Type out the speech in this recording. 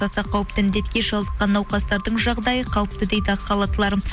аса қауіпті індетке шалдыққан науқастардың жағдайы қалыпты дейді ақ халаттылар